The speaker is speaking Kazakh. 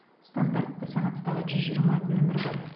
стандартты санаттағы жүз жиырма нөмір бар